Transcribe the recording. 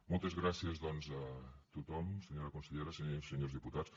moltes gràcies doncs a tothom senyora consellera senyores i senyors diputats